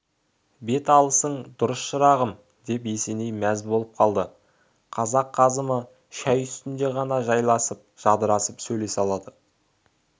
бет алысың дұрыс шырағым деп есеней мәз болып қалды қазақ қазымы шай үстінде ғана жайласып-жадырасып сөйлесе алады